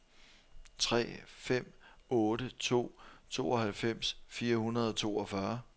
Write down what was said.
tre fem otte to tooghalvfems fire hundrede og toogfyrre